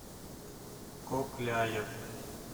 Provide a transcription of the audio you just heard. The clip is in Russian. кокляев